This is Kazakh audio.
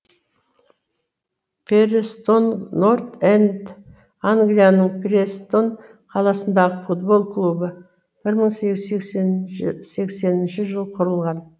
перестон норт энд англияның престон қаласындағы футбол клубы бір мың сегіз жүз сексенінші жылы құрылған